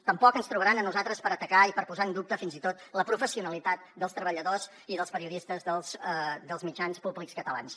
tampoc ens trobaran a nosaltres per atacar i per posar en dubte fins i tot la professionalitat dels treballadors i dels periodistes dels mitjans públics catalans